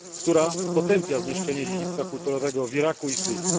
która potępia zniszczenie dziedzictwa kulturowego w Iraku i Syrii.